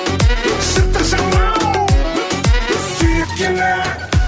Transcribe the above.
жыртық жамау сүйреткені